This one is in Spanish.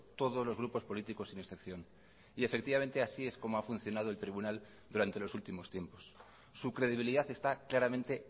todos los grupos políticos sin excepción y efectivamente así es como ha funcionado el tribunal durante los últimos tiempos su credibilidad está claramente